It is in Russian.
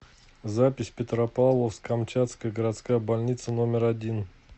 запись петропавловск камчатская городская больница номер один